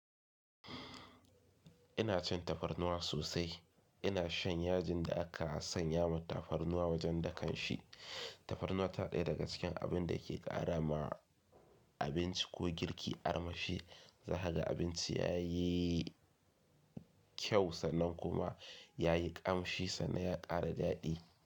Ina cin tafarnuwa sosai. Ina shan yajin da aka sanya mata tafarnuwa wajen dakanshi. Tafarnuwa tana daya daga cikin abin da ke ƙara ma abinci ko girki armashi. Zakaga abinci yayi kyau sannan kuma yayi ƙamshi sannan ya ƙara daɗi.